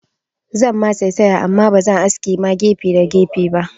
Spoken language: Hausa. Zan ma saisaya amma bazan aske ma gefe da gefe ba